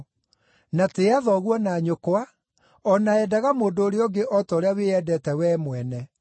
na tĩĩa thoguo na nyũkwa,’ o na ‘endaga mũndũ ũrĩa ũngĩ o ta ũrĩa wĩyendete wee mwene.’ ”